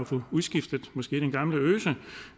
få udskiftet den gamle øse